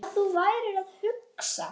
Þetta tókst.